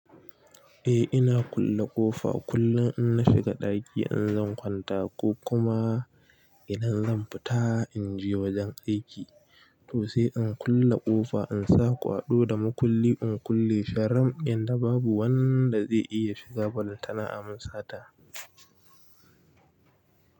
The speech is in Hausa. Eh ina kulle ƙofa kullum in na shiga ɗaki in zan kwanta ko kuma idan zan fita in je wajen aiki to sai in kulle ƙofa in sa kwaɗo da mukulli in kulle sharam inda babu wanda zai iya shiga ballantana amin sata.